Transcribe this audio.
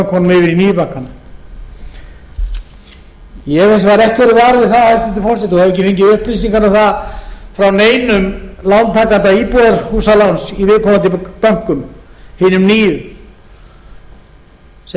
nýju bankana ég hef hins vegar ekki orðið var við það hæstvirtur forseti og hef ekki fengið upplýsingar um það frá neinum lántakanda íbúðarhúsaláns í viðkomandi bönkum hinum nýju sem áður